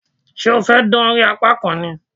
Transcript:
Ṣé o fẹ́ dánrí apá kan ni?